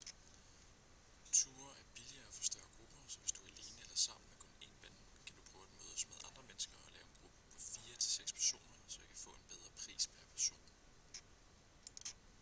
ture er billigere for større grupper så hvis du er alene eller sammen med kun én ven kan du prøve at mødes med andre mennesker og lave en gruppe på fire til seks personer så i kan få en bedre pris pr person